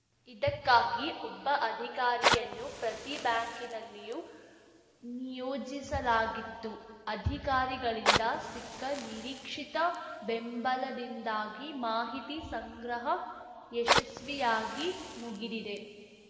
ಇದಕ್ಕಾಗಿ ಒಬ್ಬ ಅಧಿಕಾರಿಯನ್ನು ಪ್ರತಿ ಬ್ಯಾಂಕಿನಲ್ಲಿಯೂ ನಿಯೋಜಿಸಲಾಗಿತ್ತು ಅಧಿಕಾರಿಗಳಿಂದ ಸಿಕ್ಕ ನಿರೀಕ್ಷಿತ ಬೆಂಬಲದಿಂದಾಗಿ ಮಾಹಿತಿ ಸಂಗ್ರಹ ಯಶಸ್ವಿಯಾಗಿ ಮುಗಿದಿದೆ